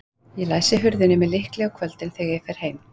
Ég læsi hurðinni með lykli á kvöldin, þegar ég fer heim.